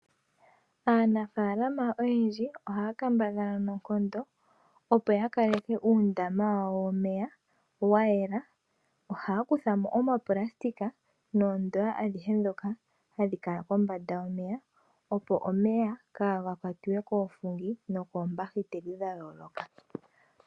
Aanafaalama oyendji oha ya kambadhala noonkondo opo ya kaleke uundama wawo womeya wa yela. Oha ya kutha mo oonayilona noondoya adhihe ndhoka hadhi kala kombanda yomeya opo omeya kaa ga kwatiwe koofungi nokoombahiteli dha yooloka.